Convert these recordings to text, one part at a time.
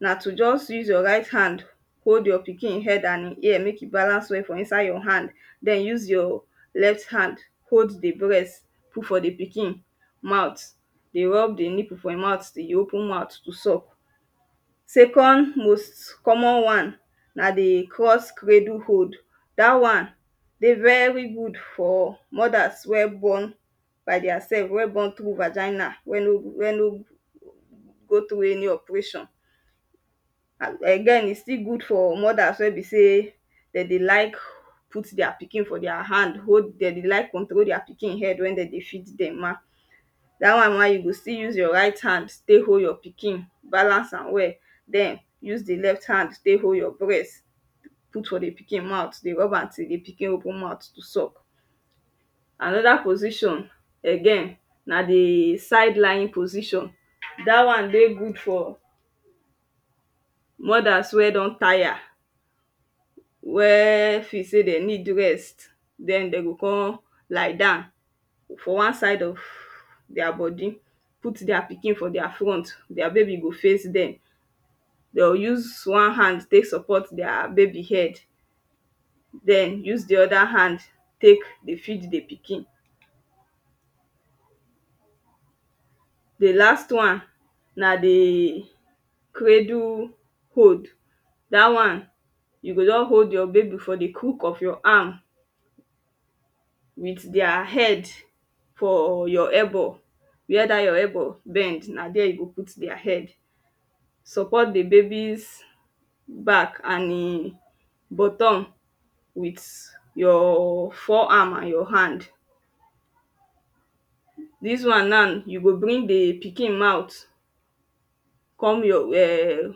na to just you your right hand hold your pikin head and hin ear make e balance well for inside your hand den your left hand hold di breast put for di pikin mouth dey rub di nipple for till e open mouth to suck second most common wan na di crosk redle hold dat wan de very good for mother we born by their self we born through vagina we no we no go through any operation den e still good for mothers wen be sey de dey like put their pikin for their hand hold them dem dey like control their pikin head wen den dey feed dem ma da wan we you o still use your right hand tey hold your pikin balance am well use di left hand tek hold your breast put for di pikin mouth dey rub am till di pikin open mouth to suck anoda position again na di side line position da wan dey good for mothers we don tire wen feel sey den need rest den de go kon lie down for wan side of their bodi put their pikin for their front their baby go face dem de o use wan hand tek support their baby head den use di other hand tek de feed di pikin di last one na di craddle hold da wan you go just hold your baby for di crook of your hand with their head for your elbow where da your elbow bend na there you go put their head support di babys back and buttom with your forearm and your hand dis wan now you go bring di pikin mouth come your um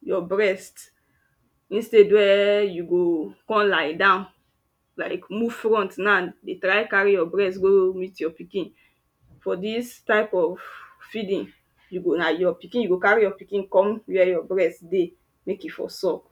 your breast instead wen you go kon lie down like move front now dey try carry your breast go meet your pikin for dis type of feeding you go like your pikin, go carry your pikin come where your breast dey mek e for suck.